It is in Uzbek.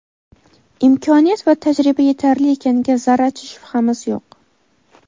imkoniyat va tajriba yetarli ekaniga zarracha shubhamiz yo‘q.